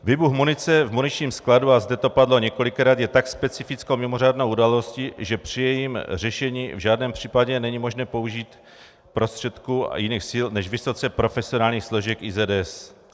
Výbuch munice v muničním skladu, a zde to padlo několikrát, je tak specifickou mimořádnou událostí, že při jejím řešení v žádném případě není možné použít prostředků a jiných sil než vysoce profesionálních složek IZS.